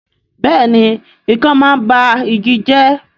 Bẹ́ẹ̀ni ikán máa ń ba igi jẹ́